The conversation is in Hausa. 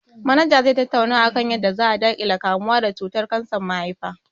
Manaja zai tattauna akan yadda za a daƙile kamuwa da cutar kansar mahaifa